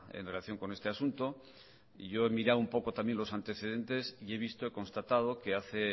en relación con este asunto yo he mirado un poco también los antecedentes y he visto constatado que hace